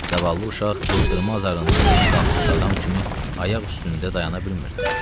Zavallı uşaq qızdırma zarından yeni qalxmış adam kimi ayaq üstündə dayana bilmirdi.